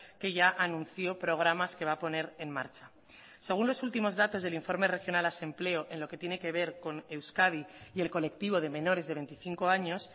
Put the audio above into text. que ya anunció programas que va a poner en marcha según los últimos datos del informe regional asempleo en lo que tiene que ver con euskadi y el colectivo de menores de veinticinco años